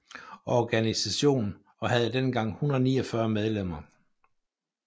Organisation og havde dengang 149 medlemmer